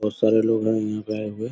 बहुत सारे लोग है यहा पे आये हुए।